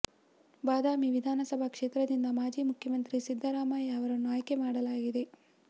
ಬಾದಾಮಿ ವಿಧಾನಸಭಾ ಕ್ಷೇತ್ರದಿಂದ ಮಾಜಿ ಮುಖ್ಯಮಂತ್ರಿ ಸಿದ್ದರಾಮಯ್ಯ ಅವರನ್ನು ಆಯ್ಕೆ ಮಾಡಲಾಗಿದೆ